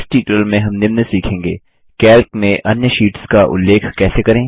इस ट्यूटोरियल में हम निम्न सीखेंगे कैल्क में अन्य शीट्स का उल्लेख कैसे करें